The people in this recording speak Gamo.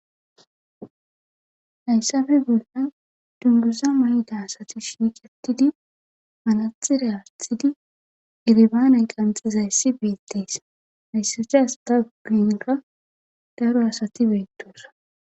Hayssappe bollan dunguza mayida asati shiiqetidi manaxire aatidi elibanniya qanxxidayssi beetes. Hayssata asata guyenkka daro asati beetosona.